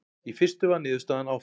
Í fyrstu var niðurstaðan áfall.